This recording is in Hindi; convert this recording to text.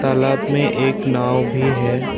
तालाब में एक नाव भी है।